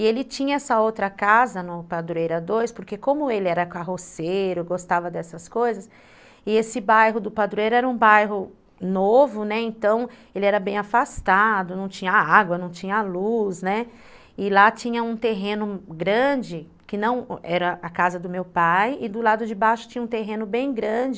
E ele tinha essa outra casa no Padroeira dois, porque como ele era carroceiro, gostava dessas coisas, e esse bairro do Padroeira era um bairro novo, né, então ele era bem afastado, não tinha água, não tinha luz, né, e lá tinha um terreno grande, que não era a casa do meu pai, e do lado de baixo tinha um terreno bem grande,